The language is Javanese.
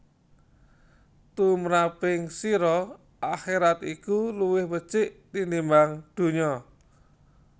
Tumraping sira akherat iku luwih becik tinimbang donya